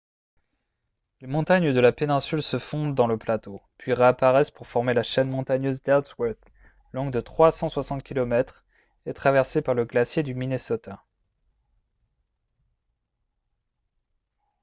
les montagnes de la péninsule se fondent dans le plateau puis réapparaissent pour former la chaîne montagneuse d'ellsworth longue de 360 km et traversée par le glacier du minnesota